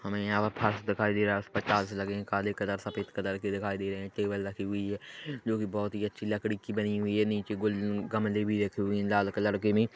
हमें यहाँ दिखाई दे रहा लगे हैं काले कलर के सफेद कलर के दिखाई दे रहे हैं टेबल रखी हुई है जो की बहुत ही अच्छी लकड़ी की बनी हुई है नीचे गुल-गमले भी रखे हुए हैं लाल कलर के भी --